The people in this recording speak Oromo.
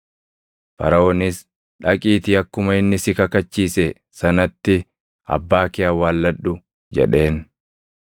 Faraʼoonis, “Dhaqiitii akkuma inni si kakachiise sanatti abbaa kee awwaalladhu” jedheen.